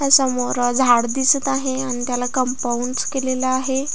समोर झाड दिसत आहे आणि त्याला कम्पाउंडस केलेले आहे.